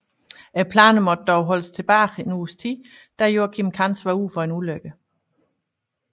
Planerne måtte dog holdes tilbage en uges tid da Joacim Cans var ude for en ulykke